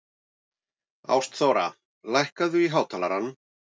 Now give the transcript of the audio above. Ástþóra, lækkaðu í hátalaranum.